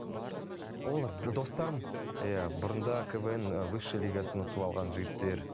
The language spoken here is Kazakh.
олар достарым иә бұрында квн ііі высший лигасын ұтып алған жігіттер